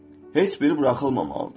Heç biri buraxılmamalıdır.